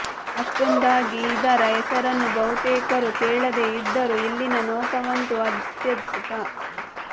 ಅಷ್ಟೊಂದಾಗಿ ಇದರ ಹೆಸರನ್ನು ಬಹುತೇಕರು ಕೇಳದೆ ಇದ್ದರೂ ಇಲ್ಲಿನ ನೋಟವಂತೂ ಅತ್ಯದ್ಭುತ